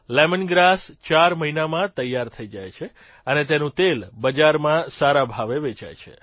lemon grass ચાર મહિનામાં તૈયાર થઇ જાય છે અને તેનું તેલ બજારમાં સારા ભાવે વેચાય છે